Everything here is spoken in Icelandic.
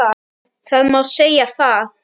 Það má segja það.